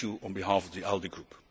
Thank you on behalf of the ALDE Group.